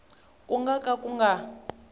ku nga ka ku nga